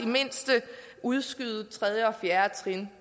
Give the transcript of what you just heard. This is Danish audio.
mindste udskyde tredje og fjerde trin